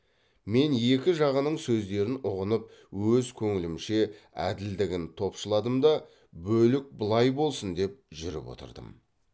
мен екі жағының сөздерін ұғынып өз көңілімше әділдігін топшыладым да бөлік былай болсын деп жүріп отырдым